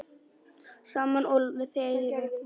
Sama og þegið!